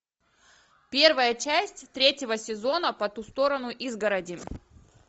первая часть третьего сезона по ту сторону изгороди